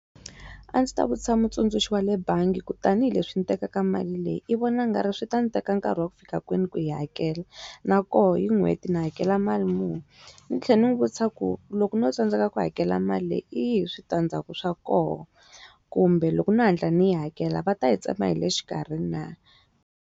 A ndzi ta vutisa mutsundzuxi wa le bangi ku tanihileswi ndzi tekaka mali leyi i vona nga ri swi ta ndzi teka nkarhi wa ku fika kwini ku yi hakela na koho yi n'hweti ndzi hakela mali muni ndzi tlhela ndzi n'wi vutisa ku loko no tsandzeka ku hakela mali leyi iyini switandzhaku swa kona? kumbe loko no hatla ndzi yi hakela va ta yi tsema hi le xikarhi na?